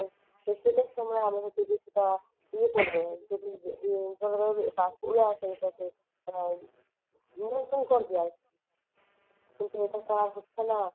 এই শীতের সময়ে আমাদের যদি বা ইয়ে করে দেয় যদি নিয়ন্ত্রন করা যায় কিন্তু এটা তো আর হচ্ছেনা ।